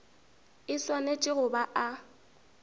e swanetše go ba a